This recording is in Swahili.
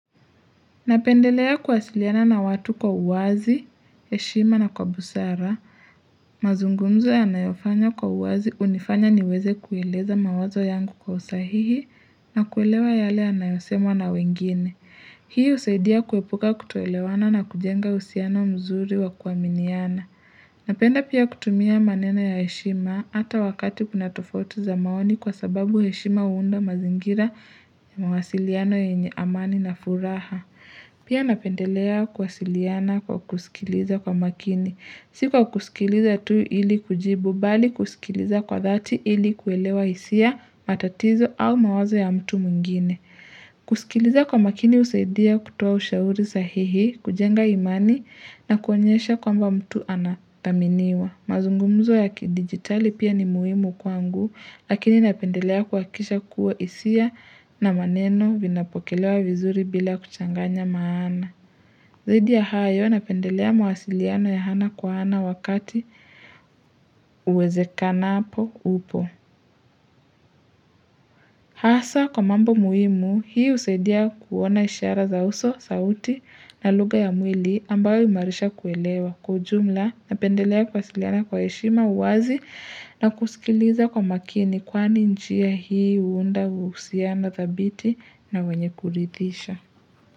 Napendelea kuwasiliana na watu kwa uwazi, heshima na kwa busara. Mazungumzo yanayofanywa kwa uwazi hunifanya niweze kueleza mawazo yangu kwa usahihi na kuelewa yale yanayosemwa na wengine. Hii husaidia kuepuka kutoelewana na kujenga uhusiano mzuri wa kuaminiana. Napenda pia kutumia maneno ya heshima hata wakati kuna tofautu za maoni kwa sababu heshima huunda mazingira ya mawasiliano yenye amani na furaha. Pia napendelea kuwasiliana kwa kusikiliza kwa makini. Si kwa kusikiliza tu ili kujibu bali kusikiliza kwa dhati ili kuelewa hisia matatizo au mawazo ya mtu mwingine. Kusikiliza kwa makini husaidia kutoa ushauri sahihi, kujenga imani na kuonyesha kwamba mtu anathaminiwa. Mazungumzo ya kidigitali pia ni muhimu kwangu, lakini napendelea kuhakikisha kuwa hisia na maneno vinapokelewa vizuri bila kuchanganya maana. Zaidi ya hayo, napendelea mawasiliano ya hana kwa ana wakati uwezekanapo upo. Hasa kwa mambo muhimu, hii husaidia kuona ishara za uso, sauti na lugha ya mwili ambayo huimarisha kuelewa. Kwa ujumla, napendelea kuwasiliana kwa heshima, uwazi na kusikiliza kwa makini kwani njia hii huunda uhusiano thabiti na wenye kuridhisha.